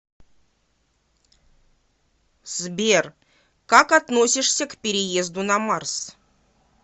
сбер как относишься к переезду на марс